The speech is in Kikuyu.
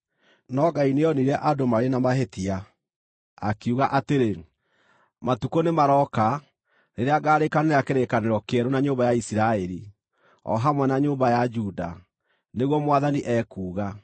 No Ngai nĩoonire andũ marĩ na mahĩtia, akiuga atĩrĩ: “Matukũ nĩmarooka, rĩrĩa ngaarĩkanĩra kĩrĩkanĩro kĩerũ na nyũmba ya Isiraeli, o hamwe na nyũmba ya Juda, nĩguo Mwathani ekuuga.